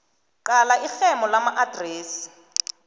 qala irhemo lamaadresi